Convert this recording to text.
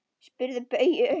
Spyrðu Bauju!